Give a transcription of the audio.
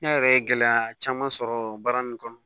Ne yɛrɛ ye gɛlɛya caman sɔrɔ baara in kɔnɔ